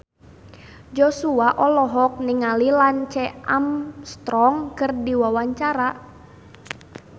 Joshua olohok ningali Lance Armstrong keur diwawancara